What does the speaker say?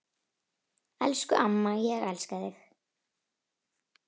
Elsku amma, ég elska þig.